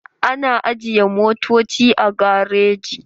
Ana ajiye motoci a gareji.